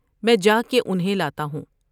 میں جا کے انھیں لاتا ہوں ۔